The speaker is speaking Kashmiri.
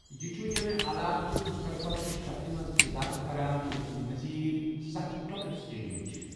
یہِ چھُ ییٚمہِ علاقچہِ مستقبل چہ شکلہ منٛز اضافہٕ کران ییٚتہِ مٔزیٖد ستھ لۅکٕٹۍ اسٹیڈیم چھِ۔